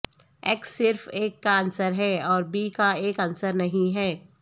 x صرف ایک کا عنصر ہے اور بی کا ایک عنصر نہیں ہے